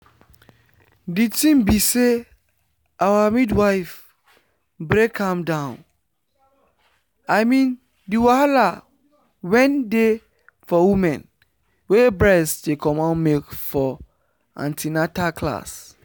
the thing be say our midwife break am down i mean the wahala wen dey for women wey breast dey comot milk for an ten atal class.